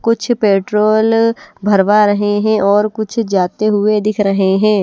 कुछ पेट्रोल भरवा रहे हें और कुछ जाते हुए दिख रहे हें।